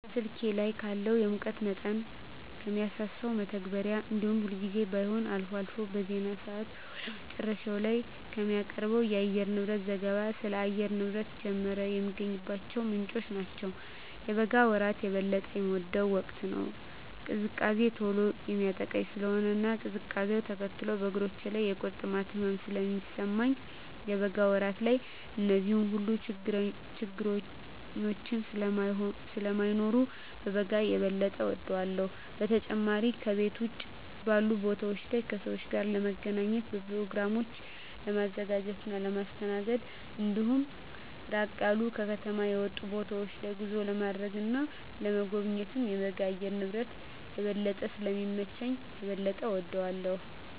ከስልኬ ላይ ካለው የሙቀት መጠንን ከሚያሳሰው መተግበሪያ እንዲሁም ሁልጊዜም ባይሆን አልፎ አልፎ በዜና ሰአት ወደ መጨረሻ ላይ ከሚቀርበው የአየርንብረት ዘገባ ስለ አየር ንብረት ጀመረ የሚገኝባቸው ምንጮች ናቸው። የበጋ ወራት የበለጠ የምወደው ወቅት ነው። ቅዝቃዜ ቶሎ የሚያጠቃኝ ስለሆነ እና ቅዝቃዜውነ ተከትሎ በእግሮቼ ላይ የቁርጥማት ህመም ስለሚሰማኝ የበጋ ወራት ላይ እነዚህ ሁሉ ችግረኞች ስለማይኖሩ በጋን የበጠ እወዳለሁ። በተጨማሪም ከቤት ውጭ ባሉ ቦታወች ላይ ከሰወች ጋር ለመገናኘት፣ በኘሮግራሞችን ለማዘጋጀት እና ለማስተናገድ እንዲሁም ራቅ ያሉ ከከተማ የወጡ ቦታወች ላይ ጉዞ ለማድረግ እና ለመጎብኘት የበጋ የአየር ንብረት የበለጠ ስለሚመች የበለጠ እወደዋለሁ።